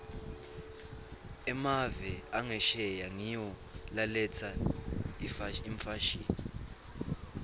emave angesheya ngiwo laletsa imfashini